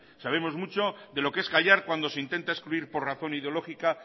sabemos mucho de lo que es callar cuando se intenta excluir por razón ideológica